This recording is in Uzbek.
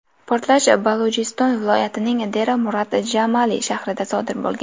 Portlash Balujiston viloyatining Dera-Murad-Djamali shahrida sodir bo‘lgan.